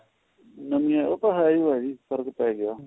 ਨਵੀਆਂ ਉਹ ਤਾਂ ਹੈ ਓ ਹੈ ਜੀ ਫਰਕ ਤਾਂ ਹੈਗਾ